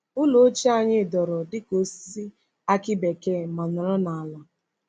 Ụlọ ochie anyị dọrọ dịka osisi akị bekee ma nọrọ n’ala,